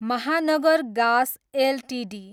Mahanagar Gas Ltd